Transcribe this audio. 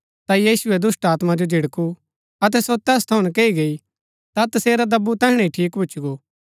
ता यीशुऐ दुष्‍टात्मा जो झिड़कु अतै सो तैस थऊँ नकैई गई ता तसेरा दब्बु तैहणै ही ठीक भूच्ची गो